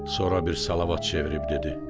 Sonra bir salavat çevirib dedi: